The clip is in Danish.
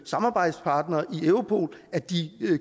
samarbejdspartnere i europol at de